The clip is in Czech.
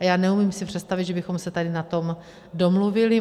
A já si neumím představit, že bychom se tady na tom domluvili.